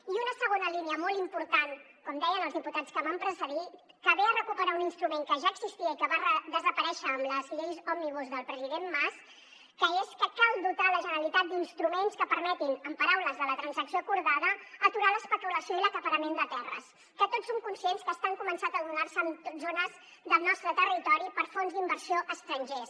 i una segona línia molt important com deien els diputats que m’han precedit que ve a recuperar un instrument que ja existia i que va desaparèixer amb les lleis òmnibus del president mas que és que cal dotar la generalitat d’instruments que permetin amb paraules de la transacció acordada aturar l’especulació i l’acaparament de terres que tots som conscients que estan començant a donar se en zones del nostre territori per fons d’inversió estrangers